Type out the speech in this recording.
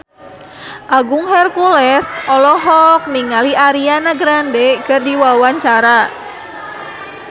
Agung Hercules olohok ningali Ariana Grande keur diwawancara